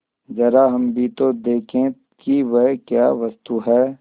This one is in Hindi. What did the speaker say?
जरा हम भी तो देखें कि वह क्या वस्तु है